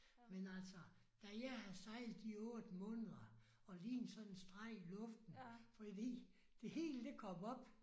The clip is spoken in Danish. Men altså da jeg havde sejlet i 8 måneder og lignede sådan en streg i luften fordi det hele det kom op